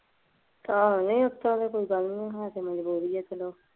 ਏਹੋ ਉਤਰਾ ਦੀ ਤਾਂ ਕੋਈ ਗੱਲ ਨਹੀਂ ਹੇਗੀ ਤਾਂ ਮਜਬੂਰੀ ਐ ਚੱਲੋ।